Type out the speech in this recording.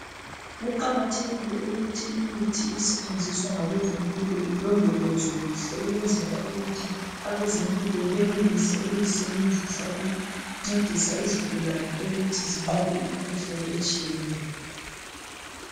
Kuqakathekile ukuthi imithi esetshenziswa ngabezempilo ilondolozwe kuhle ukwenzela ukuthi abezempilo benelise ukuyisebenzisa ukuncedisa izigulane ukuthi zinqobe imikhuhlane etshiyeneyo